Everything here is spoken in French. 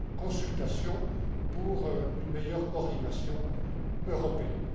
cette consultation pour une meilleure coordination européenne.